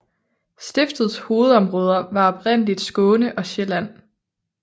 Stiftets hovedområder var oprindeligt Skåne og Sjælland